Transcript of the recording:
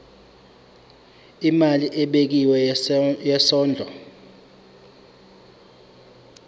imali ebekiwe yesondlo